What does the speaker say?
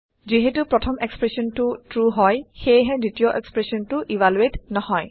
যিহেটো প্ৰথম এক্সপ্ৰেচনটো ট্ৰু হয় সেয়েহে দ্বিতীয় এক্সপ্ৰেচনটো ইভালুৱেট নহয়